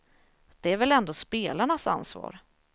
Det är väl ändå spelarnas ansvar.